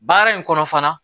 Baara in kɔnɔ fana